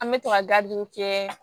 An bɛ to ka kɛ